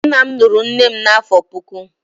nna m lụrụ nne m n'afọ puku.